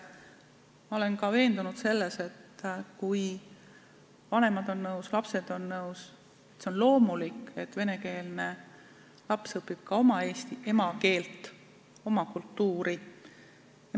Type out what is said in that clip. Ma olen veendunud selles, et kui vanemad on nõus ja lapsed on nõus, siis on loomulik, et venekeelne laps õpib ka oma emakeelt ja oma kultuuri.